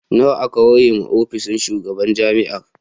Nawa aka ware wa ofishin shugaban jami'ar?